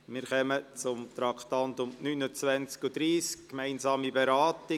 Wir kommen zu den Traktanden 29 und 30, gemeinsame Beratung.